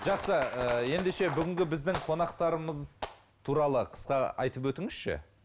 жақсы ыыы ендеше бүгінгі біздің қонақтарымыз туралы қысқа айтып өтіңізші